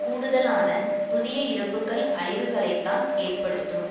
கூடுதலான புதிய இறப்புக்கள் அழிவுகளைத்தான் ஏற்படுத்தும்